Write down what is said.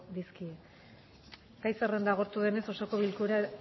dizkiogu gai zerrenda agortu denez osoko bilkurari